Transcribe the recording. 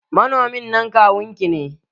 Manomin nan kawun ki ne?